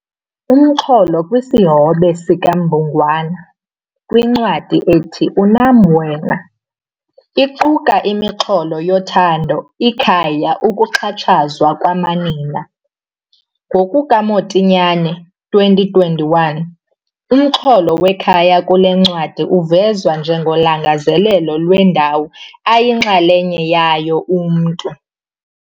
Imixholo kwisihobe sikaMbungwana kwincwadi ethi 'Unam Wena' iquka imixholo yothando, ikhaya, ukuxhatshazwa kwamanina. NgokukaMotinyane, 2021, umxholo wekhaya kule ncwadi uvezwa njengolangazelelo lwendawo ayinxalenye yayo umntu.